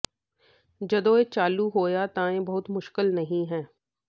ਜਦੋਂ ਇਹ ਚਾਲੂ ਹੋਇਆ ਤਾਂ ਇਹ ਬਹੁਤ ਮੁਸ਼ਕਲ ਨਹੀਂ ਹੈ